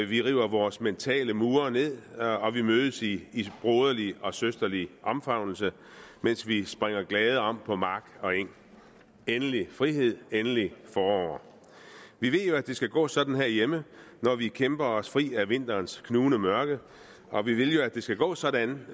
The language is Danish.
vi river vores mentale mure ned og vi mødes i broderlige og søsterlige omfavnelser mens vi springer glade om på mark og eng endelig frihed endelig forår vi ved jo at det skal gå sådan herhjemme når vi kæmper os fri af vinterens knugende mørke og vi vil jo at det skal gå sådan